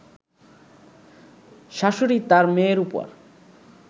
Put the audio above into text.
শাশুড়ী তার মেয়ের উপর